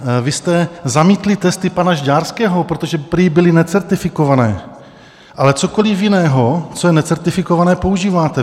Vy jste zamítli testy pana Žďárského, protože prý byly necertifikované, ale cokoli jiného, co je necertifikované, používáte.